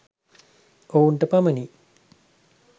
ඔවුන්ට පමණි.